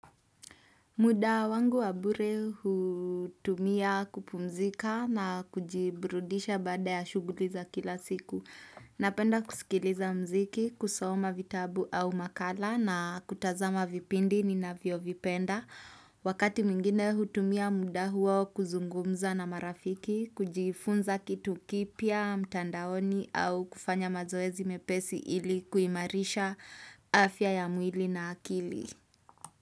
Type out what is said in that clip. Muda wangu wabure hutumia kupumzika na kujiburudisha baada ya shuguliza kila siku. Napenda kusikiliza mziki, kusoma vitabu au makala na kutazama vipindi ni navyio vipenda. Wakati mingine hutumia muda huo kuzungumza na marafiki, kujifunza kitu kipya mtandaoni au kufanya mazoezi mepesi ili kuimarisha afya ya mwili na akili.